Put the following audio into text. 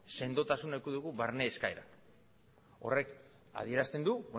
sendotasun eduki dugu barne eskaeran horrek adierazten du